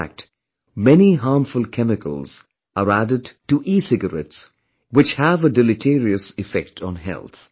In fact, many harmful chemicals are added to ecigarettes, which have a deleterious effect on health